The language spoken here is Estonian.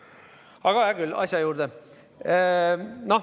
Aga hea küll, asja juurde.